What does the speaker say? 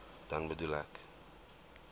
dan bedoel ek